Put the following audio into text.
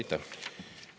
Aitäh!